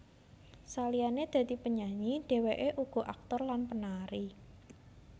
Saliyane dadi penyanyi dheweke uga aktor lan penari